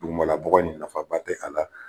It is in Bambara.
Dugumalabɔgɔ in nafaba tɛ a la